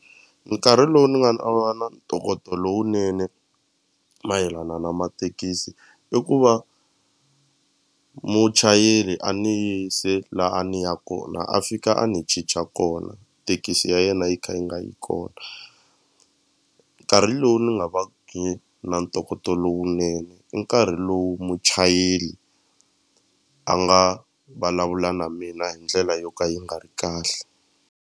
Nkarhi lowu ni nga na va na ntokoto lowunene mayelana na mathekisi i ku va muchayeri a ni yise la a ni ya kona a fika a ni cinca kona tekisi ya yena yi kha yi nga yi kona nkarhi lowu ni nga na ntokoto lowunene i nkarhi lowu muchayeli a nga vulavula na mina hi ndlela yo ka yi nga ri kahle.